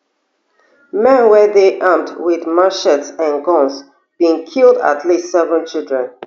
men wey dey armed wit machetes and guns bin kill at least seven children